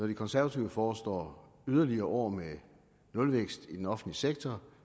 de konservative foreslår yderligere år med nulvækst i den offentlige sektor